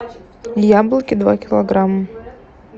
яблоки два килограмма